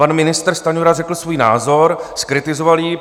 Pan ministr Stanjura řekl svůj názor, zkritizoval ji.